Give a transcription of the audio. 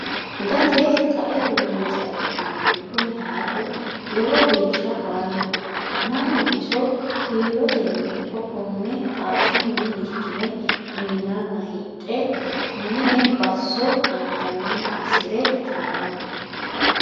Gate qaete loonse affi'nannihu kuni hayixu lowo geeshsha faayyaho mannu iso kiiloteni ikko kone xasunni likkine uyinenna hidhe mine baso anganiha assire itano.